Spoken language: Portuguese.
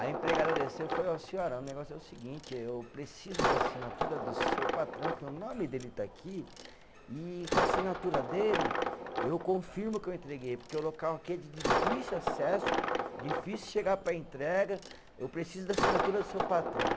A empregada desceu eu falei ó, senhora, o negócio é o seguinte, eu preciso da assinatura do seu patrão, que o nome dele está aqui, e com a assinatura dele, eu confirmo que eu entreguei, porque o local aqui é de difícil acesso, difícil chegar para a entrega, eu preciso da assinatura do seu patrão.